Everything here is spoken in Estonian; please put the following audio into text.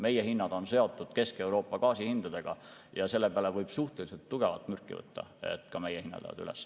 Meie hinnad on seotud Kesk-Euroopa gaasi hindadega ja selle peale võib suhteliselt tugevat mürki võtta, et ka meie hinnad lähevad üles.